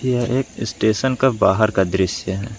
यह एक स्टेशन का बाहर का दृश्य है।